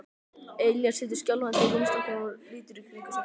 Elías situr skjálfandi á rúmstokknum og lítur í kringum sig.